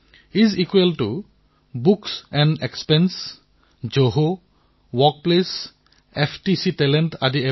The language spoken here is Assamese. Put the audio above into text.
যেনে is equal to books and expenses জহ ৱৰ্কপ্লেছ এফটিচি টেলেণ্ট